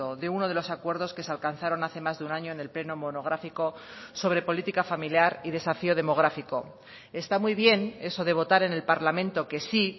de uno de los acuerdos que se alcanzaron hace más de un año en el pleno monográfico sobre política familiar y desafío demográfico está muy bien eso de votar en el parlamento que sí